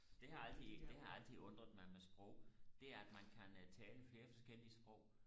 det har altid det har altid undret mig med sprog det er at man kan tale flere forskellige sprog